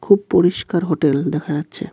খুব পরিষ্কার হোটেল দেখা যাচ্ছে.